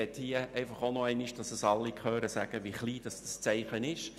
Damit es alle hören, möchte ich hier noch einmal sagen, wie klein dieses Zeichen wirklich ist: